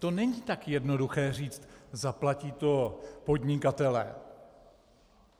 To není tak jednoduché říci "zaplatí to podnikatelé".